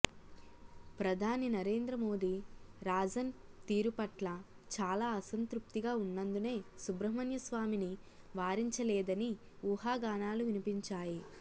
ప్రధాని నరేంద్ర మోడీ రాజన్ తీరు పట్ల చాలా అసంతృప్తిగా ఉన్నందునే సుబ్రహ్మణ్య స్వామిని వారించలేదని ఊహాగానాలు వినిపించాయి